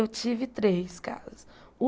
Eu tive três casas.